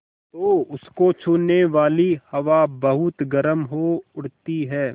तो उसको छूने वाली हवा बहुत गर्म हो उठती है